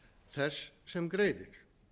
þess sem greiðir